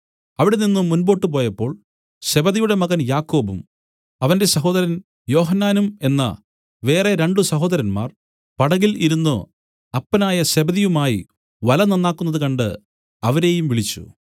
അവിടെനിന്നു മുമ്പോട്ടു പോയപ്പോൾ സെബെദിയുടെ മകൻ യാക്കോബും അവന്റെ സഹോദരൻ യോഹന്നാനും എന്ന വേറെ രണ്ടു സഹോദരന്മാർ പടകിൽ ഇരുന്നു അപ്പനായ സെബെദിയുമായി വല നന്നാക്കുന്നത് കണ്ട് അവരെയും വിളിച്ചു